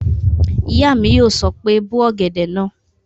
Ìyá mi yóò sọ pé "bó ọ̀gẹ̀dẹ̀ náà!"